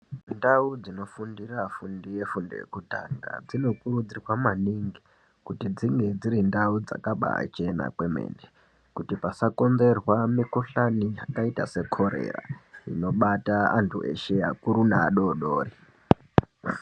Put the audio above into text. Ndau dzinofundira afundi efundo yekutanga dzinokurudzirwa maningi kuti dzinge dziri ndau dzakabaachena kwemene kuti pasakonzerwa mikhuhlani yakaita sekorera inobata antu eshe akuru neadoodori.